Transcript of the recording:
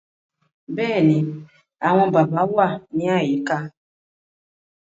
Bẹ́ẹ̀ ni, àwọn bàbá wà ní àyíká